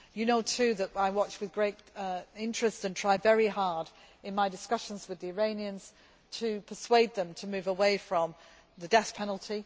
for that. You know too that I watch with great interest and try very hard in my discussions with the Iranians to persuade them to move away from the death